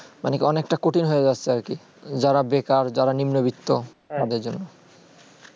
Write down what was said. মানে তা অনেক তা কঠিন হয়ে যাচ্ছে আর কি যারা বেকার যারা নিম্ন বিত্ত তাদের জন্য